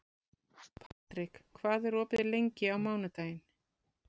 Patrik, hvað er opið lengi á mánudaginn?